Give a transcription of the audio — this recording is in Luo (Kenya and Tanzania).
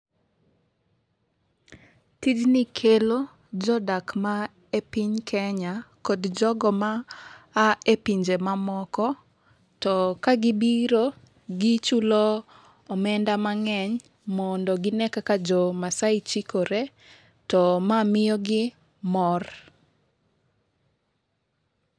Tijni kelo jodak ma e piny kenya kod jogo ma a e pinje mamoko. To ka gibiro gichulo omenda mang'eny mondo gine kaka jo masai chikore to ma miyo gi mor.